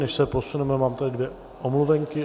Než se posuneme, mám tady dvě omluvenky.